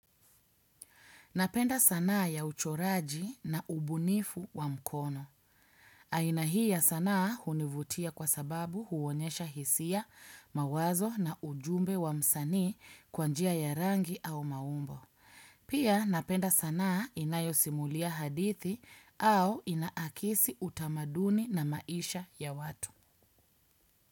Napenda sana ya uchoraji na ubunifu wa mkono. Aina hii ya sana hunivutia kwa sababu huonyesha hisia, mawazo na ujumbe wa msani kwa njia ya rangi au maumbo. Pia napenda sana inayosimulia hadithi au inaakisi utamaduni na maisha ya watu.